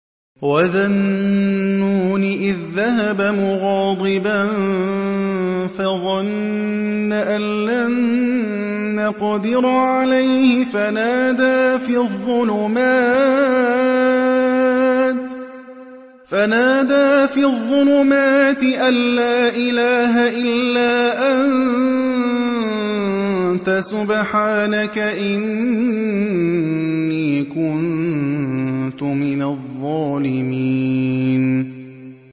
وَذَا النُّونِ إِذ ذَّهَبَ مُغَاضِبًا فَظَنَّ أَن لَّن نَّقْدِرَ عَلَيْهِ فَنَادَىٰ فِي الظُّلُمَاتِ أَن لَّا إِلَٰهَ إِلَّا أَنتَ سُبْحَانَكَ إِنِّي كُنتُ مِنَ الظَّالِمِينَ